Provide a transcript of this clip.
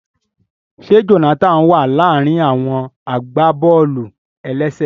Ṣe Jonathan wa laarin àwọn agbábọ̀ọ̀lù-elese?